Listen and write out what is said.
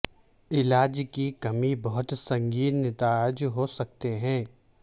علاج کی کمی بہت سنگین نتائج ہو سکتے ہیں